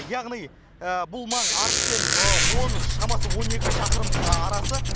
яғни бұл маң арыспен он шамасы он екі шақырым арасы